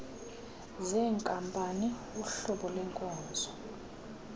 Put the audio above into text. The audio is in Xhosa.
zenkampani uhlobo lwenkonzo